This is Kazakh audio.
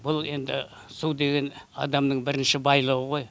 бұл енді су деген адамның бірінші байлығы ғой